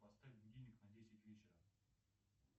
поставь будильник на десять вечера